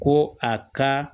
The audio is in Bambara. Ko a ka